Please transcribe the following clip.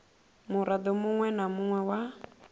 muraḓo muṅwe na muṅwe wa